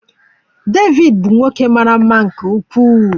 David bụ nwoke mara mma nke ukwuu.